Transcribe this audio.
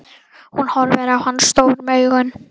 Hún horfir á hann stórum augum.